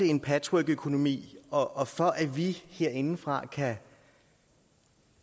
en patchworkøkonomi og for at vi herindefra kan